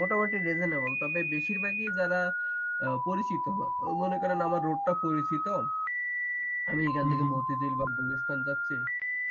মোটামুটি রিজনেবল তবে বেশিরভাগই যারা পরিচিত মনে করেন আমার লোকটা পরিচিত আমি এখান থেকে মতিঝিল বা গুলিস্তান যাচ্ছি